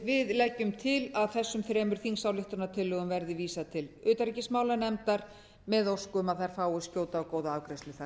við leggjum til að þessum þremur þingsályktunartillögum verði vísað til utanríkismálanefndar með ósk um að þær fái skjóta og góða afgreiðslu þar